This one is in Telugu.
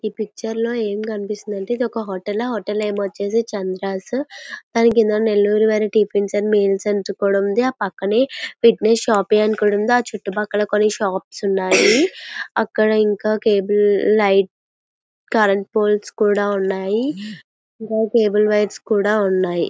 ఈ పిక్చర్లో ఏం కనిపిస్తుంది అంటే ఇదొక హోటల్ . ఆ హోటల్ ఏమో వచ్చేసి చంద్రాసు దాని కింద నెల్లూరు వారి టిఫిన్ అండ్ మీల్స్ అని కూడా ఉంది. పక్కనే విగ్నేష్ షాపింగ్ ఉంది. చుట్టుపక్కల కొన్ని షాప్స్ ఉన్నాయి. ఇక్కడ కేబుల్ లైను కరెంటు పోల్స్ కూడా ఉన్నాయి. కేబులు వైర్స్ కూడా ఉన్నాయి.